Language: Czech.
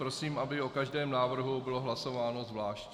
Prosím, aby o každém návrhu bylo hlasováno zvlášť.